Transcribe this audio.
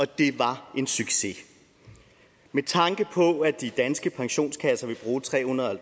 det var en succes med tanke på at de danske pensionskasser vil bruge tre hundrede og